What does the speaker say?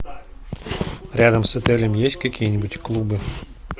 рядом с отелем есть какие нибудь клубы